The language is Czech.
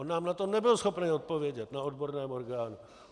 On nám na to nebyl schopen odpovědět na odborném orgánu.